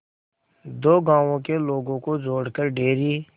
दो गांवों के लोगों को जोड़कर डेयरी